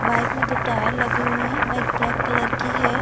Bike में दो tyre लगे हुए है बाइक ब्लैक कलर की हैं ।